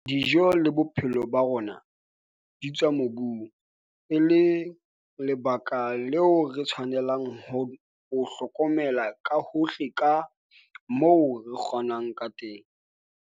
Dijo le bophelo ba rona di tswa mobung, e leng lebaka leo re tshwanelang ho o hlokomela ka hohle ka moo re kgonang ka teng.